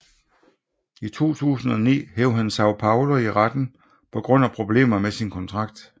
I 2009 hev han São Paulo i retten på grund af problemer med sin kontrakt